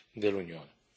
dell'Unione.